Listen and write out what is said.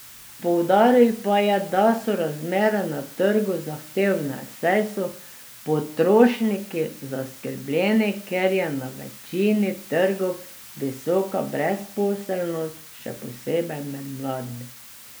Poudaril pa je, da so razmere na trgu zahtevne, saj so potrošniki zaskrbljeni, ker je na večini trgov visoka brezposelnost, še posebej med mladimi.